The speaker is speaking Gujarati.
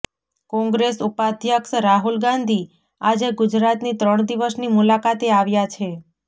કોંગ્રેસ ઉપાધ્યક્ષ રાહુલ ગાંધી આજે ગુજરાતની ત્રણ દિવસની મુલાકાતે આવ્યા છે